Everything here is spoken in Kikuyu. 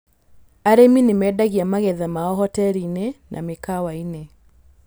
Arĩmi nĩ mendagia magetha mao hoteri-inĩ na mĩkawa-inĩ.